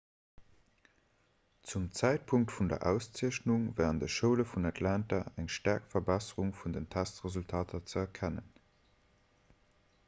zum zäitpunkt vun der auszeechnung war an de schoule vun atlanta eng staark verbesserung vun den testresultater ze erkennen